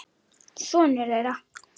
Sonur þeirra.